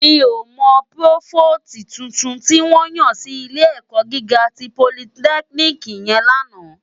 Mi ó mò prófóstì tútún tiwòn yán si ilé èkò gigá ti pólìtèkínìkí yèn làná